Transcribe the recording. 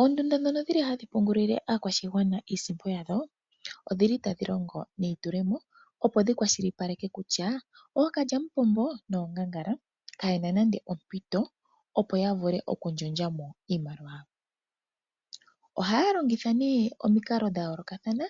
Oondunda dhono dhili hadhi pungulila aakwashigwana iisimpo yayo, odhili tadhi longo neitulemo opo dhi kwashilipaleke kutya okalyamupombo noongangala kadhi na nande ompito opo yavule okundjolya mo iimaliwa. Oha longitha nee omiikalo dha yolokathana.